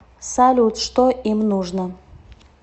салют что им нужно